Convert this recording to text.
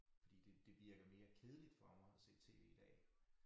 Fordi det det virker mere kedeligt for mig at se tv i dag